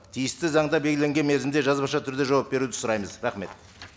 тиісті заңда белгіленген мерзімде жазбаша түрде жауап беруді сұраймыз рахмет